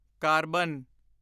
carbon